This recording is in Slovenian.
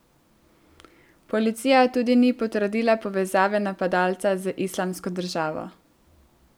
Policija tudi ni potrdila povezave napadalca z Islamsko državo.